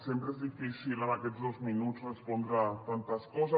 sempre és difícil en aquests dos minuts respondre tantes coses